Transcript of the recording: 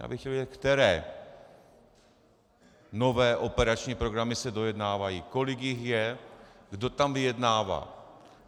Já bych chtěl vědět, které nové operační programy se dojednávají, kolik jich je, kdo tam vyjednává.